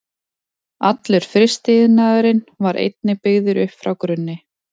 Allur frystiiðnaðurinn var einnig byggður upp frá grunni.